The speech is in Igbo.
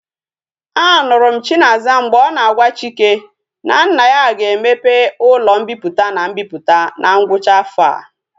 A nuru m chinaza mgbe o na agwa chika na nna ya ga emepe ulo mpiputa na mbiputa na ngwacha afo a